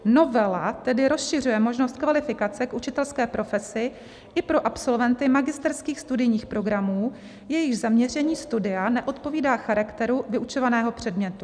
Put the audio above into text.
Novela tedy rozšiřuje možnost kvalifikace k učitelské profesi i pro absolventy magisterských studijních programů, jejichž zaměření studia neodpovídá charakteru vyučovaného předmětu.